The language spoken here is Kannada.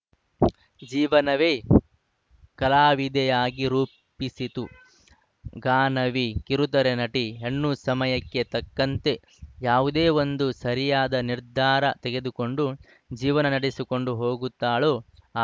ಜೀವನವೇ ಕಲಾವಿದೆಯಾಗಿ ರೂಪಿಸಿತು ಗಾನವಿ ಕಿರುತೆರೆ ನಟಿ ಹೆಣ್ಣು ಸಮಯಕ್ಕೆ ತಕ್ಕಂತೆ ಯಾವುದೇ ಒಂದು ಸರಿಯಾದ ನಿರ್ಧಾರ ತೆಗೆದುಕೊಂಡು ಜೀವನ ನಡೆಸಿಕೊಂಡು ಹೋಗುತ್ತಾಳೋ ಆ